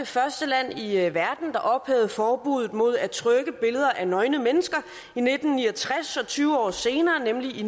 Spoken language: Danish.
første land i verden der ophævede forbuddet mod at trykke billeder af nøgne mennesker i nitten ni og tres og tyve år senere nemlig